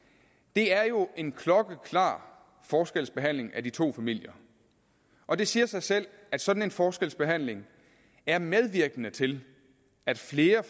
det er jo en klokkeklar forskelsbehandling af de to familier og det siger sig selv at sådan en forskelsbehandling er medvirkende til at flere